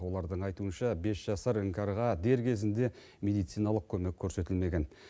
олардың айтуынша бес жасар іңкәрға дер кезінде медициналық көмек көрсетілмеген